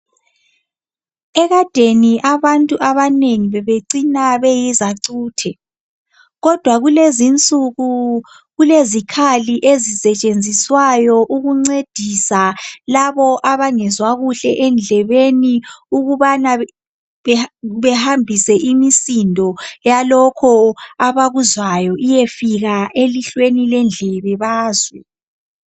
Ekadeni abantu abanengi bebecina beyizacuthe kodwa kulezinsuku kulezikhali ezisetshenziswayo ukuncedisa labo abangezwa kuhle endlebeni ukubana behambise imisindo yalokho abakuzwayo kuyefika elihlweni lendlebe bazwe